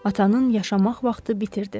Atanın yaşamaq vaxtı bitirdi.